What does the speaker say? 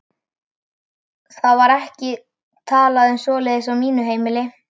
Það var ekki talað um svoleiðis á mínu heimili.